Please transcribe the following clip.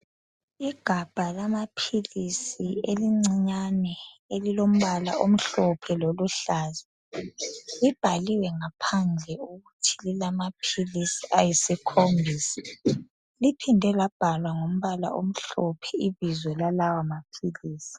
igabha lamaphilisi elincinyane elilombala omhlophe loluhlaza libhaliwe ngaphandle ukuthi lilamaphilisi ayisikhombisa liphinde labhalwa ngombala omhlophe ibizo lalawa maphilisi